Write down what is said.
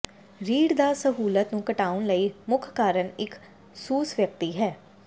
ਰੀੜ੍ਹ ਦੀ ਸਹੂਲਤ ਨੂੰ ਘਟਾਉਣ ਲਈ ਮੁੱਖ ਕਾਰਨ ਇੱਕ ਸੁਸ ਵਿਅਕਤੀ ਹੈ